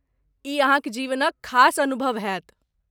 ई अहाँक जीवनक खास अनुभव होयत।